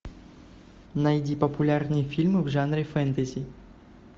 найди популярные фильмы в жанре фэнтези